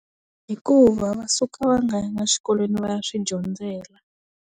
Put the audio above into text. Hikuva va suka va nga ya ngi swikolweni va ya swi dyondzela.